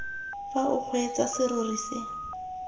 fa o kgweetsa serori se